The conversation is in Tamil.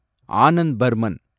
ஆனந்த் பர்மன்